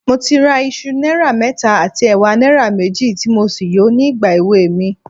Mo ti ra iṣu náírà mẹ́ta àti ẹ̀wà náírà méjì, tí mo sì yò ó nígbà èweè mi